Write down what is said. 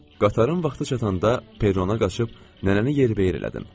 Qatarın vaxtı çatanda perrona qaçıb nənəni yerbəyer elədim.